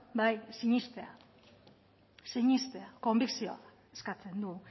sinestea konbikzioa eskatzen du